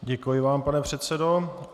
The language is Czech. Děkuji vám, pane předsedo.